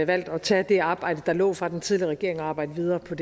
valgt at tage det arbejde der lå fra den tidligere regering og arbejde videre på